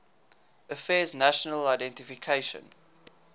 affairs national identification